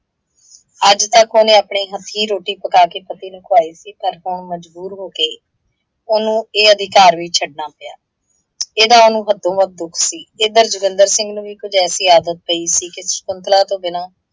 ਅੱਜ ਤੱਕ ਉਹਨੇ ਅਪਣੇ ਹੱਥੀਂ ਰੋਟੀ ਪਕਾ ਕੇ ਪਤੀ ਨੂੰ ਖੁਆਈ ਸੀ, ਤਾਂ ਅੱਗੋਂ ਮਜਬੂਰ ਹੋ ਕੇ ਉਹਨੂੰ ਇਹ ਅਧਿਕਾਰ ਵੀ ਛੱਡਣਾ ਪਿਆ। ਇਹਦਾ ਉਹਨੂੰ ਹੱਦੋਂ ਵੱਧ ਦੁੱਖ ਸੀ। ਇੱਧਰ ਜੋਗਿੰਦਰ ਸਿੰਘ ਨੂੰ ਵੀ ਕੁੱਝ ਐਸੀ ਆਦਤ ਪਈ ਸੀ ਕਿ ਸ਼ਕੁੰਤਲਾ ਤੋਂ ਬਿਨਾਂ